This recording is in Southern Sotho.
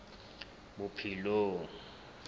bophelong